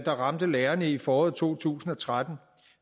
ramte lærerne i foråret to tusind og tretten